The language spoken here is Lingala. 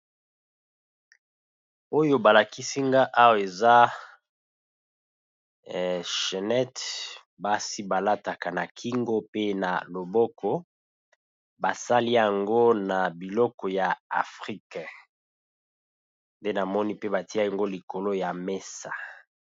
Oyo ba lakisi nga awa, eza chenette, basi ba lataka na kingo pe na loboko . Ba sali yango na biloko ya Afrique, nde na moni pe ba tié yango likolo ya mesa.